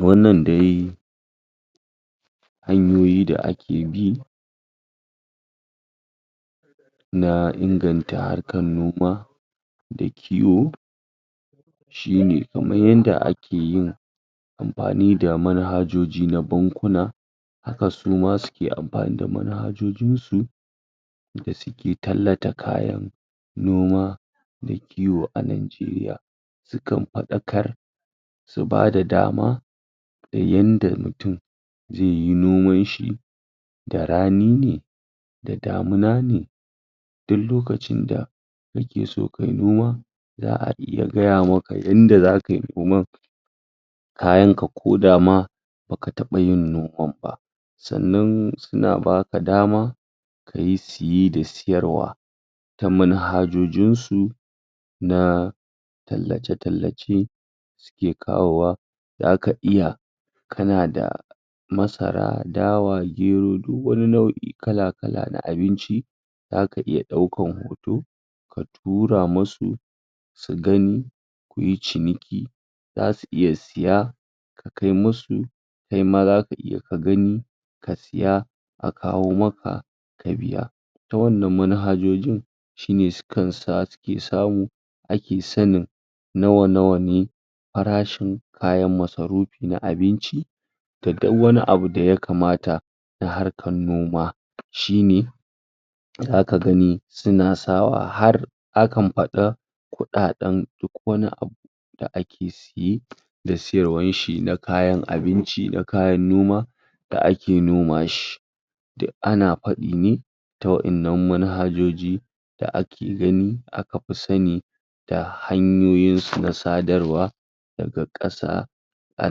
Wannan dai Hanyoyi da ake bi na inganta harkar noma da kiwo shine kamar yadda ake yin amfani da manhajoji na bankuna, haka suma suke amfani da manhajojin su da suke tallata kayan noma da kiwo a Nigeria. Su kan fadakar, su ba da dama yadda mutum zai yi noman shi, da rani, da damuna ne, dik lolacin da kake so kayi noma za'a iya gaya maka yadda zakayi noman, kayan ka ko dama baka taba yin noman ma, sannan suna baka dama kayi siye da siyarwa ta manhajojin su na tallace tallace suke kawowa, zaka iya kana da masara dawa gero dik wani nau'i kala kala na abinci, zaka iya daukan kudi ka tura musu, su gani, suyi ciniki, zasu iya siya, ka kai musu, kai ma zaka iya ka gani ka siya, a kawo maka ka biya, ta wannan manhajojin, shine sukan samu ake sanin nawa nawa ne farashin kayan masarufi na abinci, da dik wani da ya kamata na harkar noma shine zaka gani suna sa wa har akan fada kudaden duk wani abu da ake siye da siyarwar shi na kayan abinci, kayan noma da ake noma shi ana fadi ne ta wadannan manhajoji da ake gani aka fi Sani da hanyoyin su na sadarwa daga kasa a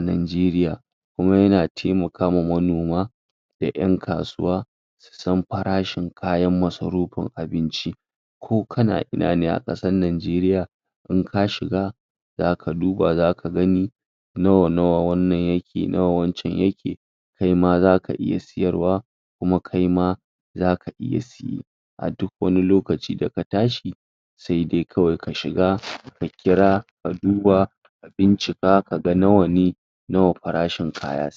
Nigeria. Kuma yana taimakawa manoma da yan kasuwa su san farashin kayan masarufin abinci ko kana ina ne a kasar Nigeria, in ka shiga zaka duba zaka gani nawa nawa wannan yake nawa wancan yake, kai ma zaka iya siyarwa kuma kai ma zaka iya siya duk qani lokaci da ka tashi sai dai kawai ka shiga ka kira ka duba ka bincika kaga nawane, nawa farashin kaya.